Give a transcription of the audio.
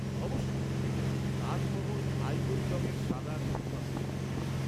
-অবশ্যই। তাজ মহল আইভরি রঙের সাদা শ্বেতপাথরের তৈরি।